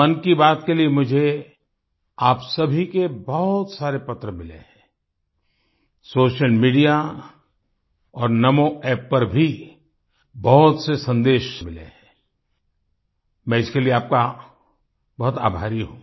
मन की बात के लिए मुझे आप सभी के बहुत सारे पत्र मिले हैं सोशल मीडिया और NaMoApp पर भी बहुत से सन्देश मिले हैं मैं इसके लिए आपका बहुत आभारी हूँ